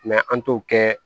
an t'o kɛ